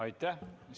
Aitäh!